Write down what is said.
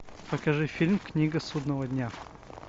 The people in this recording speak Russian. покажи фильм книга судного дня